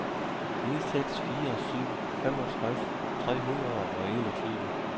ni seks fire syv femogtres tre hundrede og enogtyve